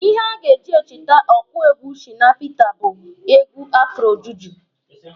Ihe a ga-eji echete ọkụ egwu Shina Pita bụ egwu afro juju.